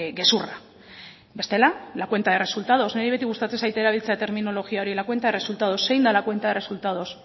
gezurra bestela la cuenta de resultados niri beti gustatzen zait erabiltzea terminologia hori la cuenta de resultados zein da la cuenta de resultados